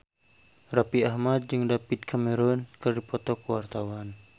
Raffi Ahmad jeung David Cameron keur dipoto ku wartawan